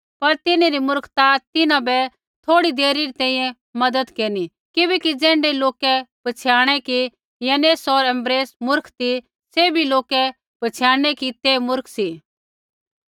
पर तिन्हरी मुर्खता तिन्हां बै थोड़ी देरी री तैंईंयैं मज़त केरनी किबैकि ज़ैण्ढै लोकै पछ़ियाणै कि यन्नेस होर यम्ब्रेसै मूर्ख ती सैभी लोकै पछ़ियाणनै कि ते मूर्ख सी